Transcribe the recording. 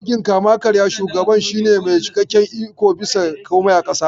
A mulkin kama-karya, shugaban shi ne mai cikakken ikon bisa komai a ƙasa.